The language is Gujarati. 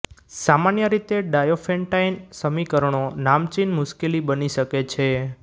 સામાન્ય રીતે ડાયોફેન્ટાઈન સમીકરણો નામચીન મુશ્કેલી બની શકે છે